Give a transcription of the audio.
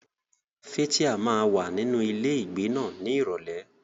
Fathia máa wà nínú ilé ìgbé náà ní Ìrọ̀lẹ́.